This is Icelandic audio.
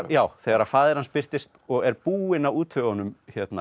já þegar faðir hans birtist og er búinn að útvega honum